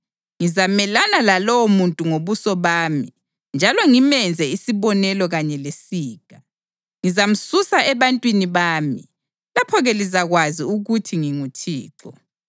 Ngizamelana lalowomuntu ngobuso bami njalo ngimenze isibonelo kanye lesiga. Ngizamsusa ebantwini bami. Lapho-ke lizakwazi ukuthi nginguThixo.